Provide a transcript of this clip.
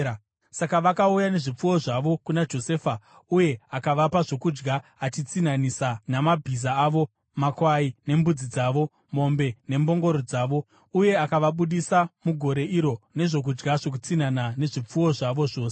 Saka vakauya nezvipfuwo zvavo kuna Josefa, uye akavapa zvokudya achitsinhanisa namabhiza avo, makwai nembudzi dzavo, mombe nembongoro dzavo. Uye akavabudisa mugore iro nezvokudya zvokutsinhana nezvipfuwo zvavo zvose.